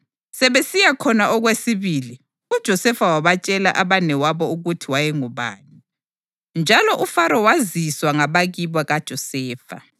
Sebesiya khona okwesibili, uJosefa wabatshela abanewabo ukuthi wayengubani, njalo uFaro waziswa ngabakibo kaJosefa.